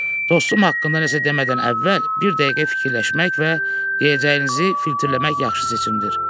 Dostum haqqında nəsə demədən əvvəl bir dəqiqə fikirləşmək və deyəcəyinizi filtrləmək yaxşı seçimdir.